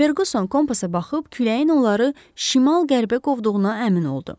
Ferquson kompasa baxıb küləyin onları şimal-qərbə qovduğuna əmin oldu.